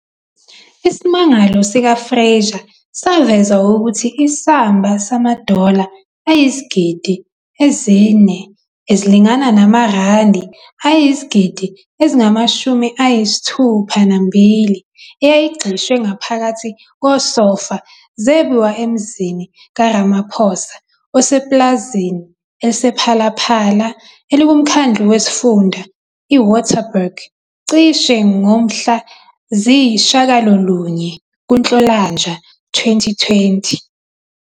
Isimangalo sika-Fraser saveza ukuthi isamba samadola ayizigidi ezi-4, ezilingana namarandi ayizigidi ezingama-62, eyayigxishwe ngaphakathi kosofa zebiwa emzini ka-Ramaphosa osepulazini elisePhalaPhala elikumkhandlu wesifunda i-Waterberg, "cishe" ngomhla ziyi-9 kuNhlolanja 2020.